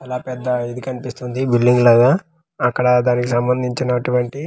చాలా పెద్ద ఇది కనిపిస్తుంది బిల్డింగ్ లాగా అక్కడ దానికి సంబందించినటువంటి.